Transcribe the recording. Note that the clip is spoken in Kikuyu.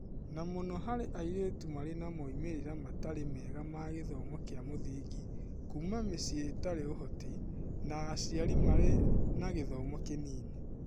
Na mũno harĩ airĩtu marĩ na moimĩrĩra matari mega ma gĩthomo kĩa mũthingi, kuuma mĩciĩ itarĩ ũhoti, na aciari marĩ na gĩthomo kĩnini.